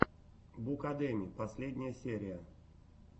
букадеми последняя серия